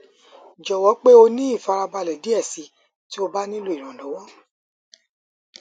jọwọ pe o ni ifarabalẹ diẹ sii ti o ba nilo iranlọwọ